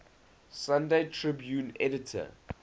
sunday tribune editor